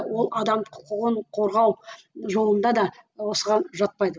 ол адам құқығын қорғау жолында да осыған жатпайды